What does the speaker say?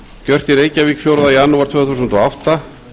gert í reykjavík fjórða janúar tvö þúsund og átta